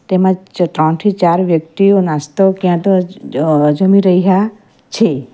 તેમજ ત્રણથી ચાર વ્યક્તિઓ નાસ્તો ક્યાં તો અ જમી રહ્યા છે.